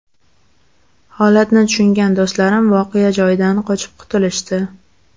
Holatni tushungan do‘stlarim voqea joyidan qochib qutulishdi.